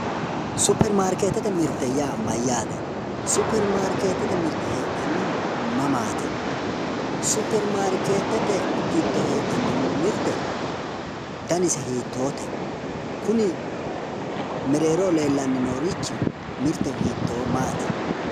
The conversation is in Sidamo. Superimaarkeetete mirte yaa mayyaate? Superimaarkeetete mirte heedhannohu mamaati? Superimaarkeetete giddo heedhanno mirte danise hiittoote? Kuni mereeroho leellannorichi mirte hiittoo maati?